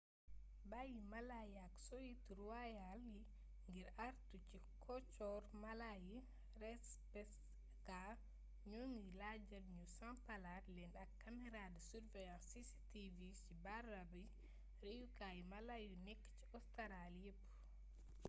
bayyi mala yi ak soyite ruwayaal ngir àartu ci coxoru mala yi rspca ñoo ngi laajal ñu sampalaat leen ay kamera de surveillance cctv ci barabi reyukaayu mala yu nekk ci ostaraali yépp